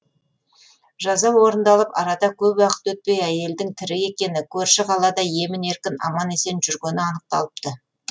жаза орындалып арада көп уақыт өтпей әйелдің тірі екені көрші қалада емін еркін аман есен жүргені анықталыпты